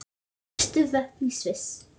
Stærstu vötn í Sviss